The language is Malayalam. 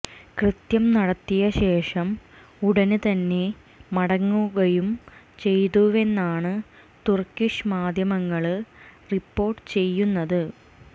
കൃത്യം നടത്തിയ ശേഷം ഉടന് തന്നെ മടങ്ങുകയും ചെയ്തുവെന്നാണ് തുര്ക്കിഷ് മാധ്യമങ്ങള് റിപ്പോര്ട്ട് ചെയ്യുന്നത്